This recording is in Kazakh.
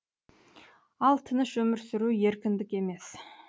ал тыныш өмір сүру еркіндік емес